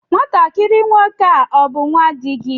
Nwatakịrị nwoke a ọ bú nnwa di gị?